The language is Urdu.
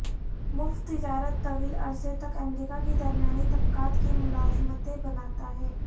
مفت تجارت طویل عرصے تک امریکہ کی درمیانی طبقات کی ملازمتیں بناتا ہے